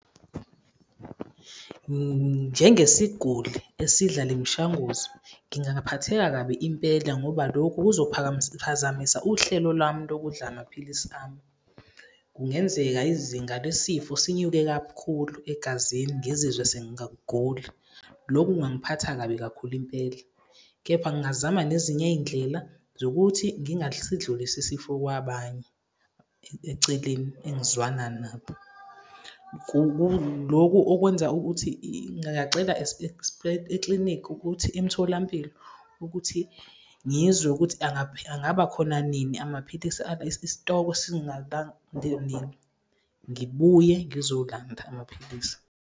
Njengesiguli esidla le mishanguzo, ngingaphatheka kabi impela ngoba lokhu kuzophazamisa uhlelo lwami lokudla amaphilisi ami. Kungenzeka izinga lesifo sinyuke kakhulu egazini, ngizizwe lokhu kungangiphatha kabi kakhulu impela, kepha ngingazama nezinye iy'ndlela zokuthi ngingasidlulisi isifo kwabanye eceleni engizwana nabo. Lokhu okwenza ukuthi ngingacela eklinikhi ukuthi, emtholampilo ukuthi ngizwe ukuthi angabakhona nini amaphilisi isitokwe ngibuye ngizolanda amaphilisi.